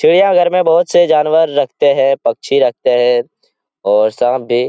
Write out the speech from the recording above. चिड़िया घर में बहोत से जानवर रखते हैं पक्षी रखते हैं और साँप भी ।